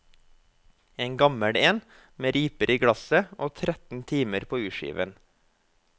En gammel en, med riper i glasset og tretten timer på urskiven.